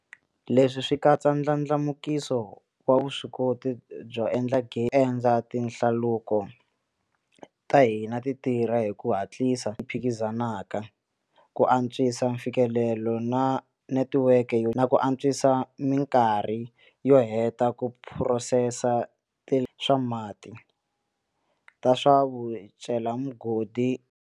Leswi swi katsa ndlandlamukiso wa vuswikoti byo endla gezi, endla tinhlaluko ta hina ti tirha hi ku hatlisa phikizanaka, ku antswisa mfikelelo wa netiweke na ku antswisa mikarhi yo heta ku phurosesa swa mati, ta swa vucelamigodi.